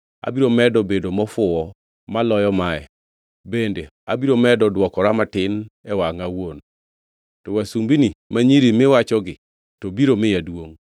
Abiro medo bedo mofuwo maloyo mae, bende abiro medo dwokora matin e wangʼa awuon. To wasumbini ma nyiri miwachogi, to biro miya duongʼ.”